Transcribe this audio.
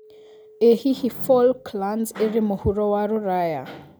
ĩ hihi Falklands ĩrĩ mũhuro wa rũraya